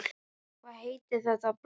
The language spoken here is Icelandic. Hvað heitir þetta blóm?